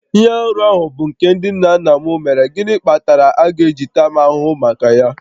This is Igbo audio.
Ihe arụ ahụ bụ nke ndị nna nna m mere, gịnị kpatara a ga-eji taa m ahụhụ maka ya?